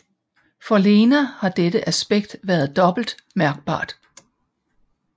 For Lena har dette aspekt været dobbelt mærkbart